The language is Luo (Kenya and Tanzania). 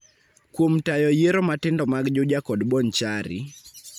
kuom tayo yiero matindo mag Juja kod Bonchari,